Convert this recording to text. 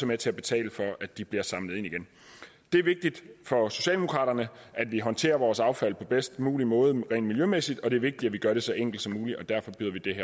med til at betale for at de bliver samlet ind igen det er vigtigt for socialdemokraterne at vi håndterer vores affald på bedst mulig måde rent miljømæssigt og det er vigtigt at vi gør det så enkelt som muligt derfor